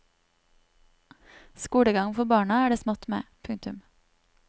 Skolegang for barna er det smått med. punktum